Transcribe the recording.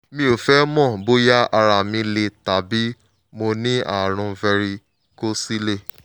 mo fẹ́ mọ̀ bóyá ara mi le tàbí pé mo ní ààrùn varicocele